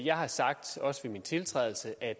jeg har sagt også ved min tiltrædelse at